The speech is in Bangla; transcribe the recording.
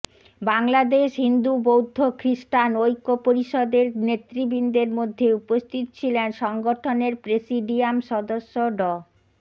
বাংলাদেশ হিন্দু বৌদ্ধ খ্রিস্টান ঐক্য পরিষদের নেতৃবৃন্দের মধ্যে উপস্থিত ছিলেন সংগঠনের প্রেসিডিয়াম সদস্য ড